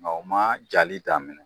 Nka u ma jali daminɛ.